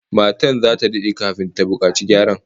Motar zata dade kafin ta bukaci gyara